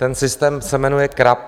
Ten systém se jmenuje CRAB.